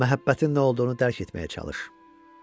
Məhəbbətin nə olduğunu dərk etməyə çalış.